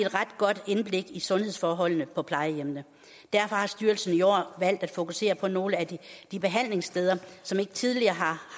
ret godt indblik i sundhedsforholdene på plejehjemmene derfor har styrelsen i år valgt at fokusere på nogle af de behandlingssteder som ikke tidligere